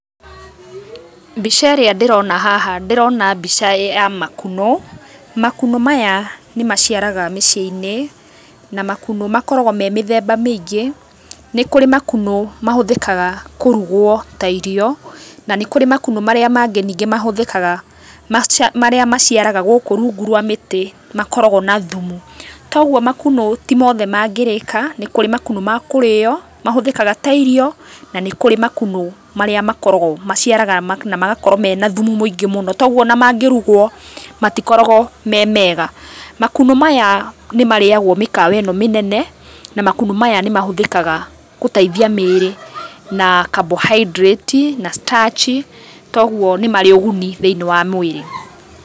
Mbica ĩrĩa ndĩrona haha ndĩrona mbica ya makunũ. Makunũ maya nĩ maciaraga mĩciĩ-inĩ na makunũ makoragwo me mĩthemba mĩingĩ. Nĩ kũrĩ makunũ mahũthĩkaga kũrugwo ta irio, na nĩ kũrĩ makunũ marĩa mangĩ ningĩ mahũthĩkaga marĩa maciaraga gũkũ rungu rwa mũtĩ makoragũo na thumu. Ta ũguo makunũ ti mothe mangĩrĩka, nĩ kũrĩ makunũ ma kũrĩo mahũthĩkaga ta irio na nĩ kũrĩ makunũ marĩa makoragũo magaciara na makoragũo mena thumu mũingĩ mũno. Ta ũguo ona mangĩrugũo matikoragwo me mega. Makunũ maya nĩ marĩagwo mĩkawa ĩno mĩnene na makũno maya nĩ mahũthĩkaga gũteithia mĩĩrĩ na carbohydrates na starch. Ta ũguo nĩ marĩ ũguni thĩinĩ wa mwĩrĩ.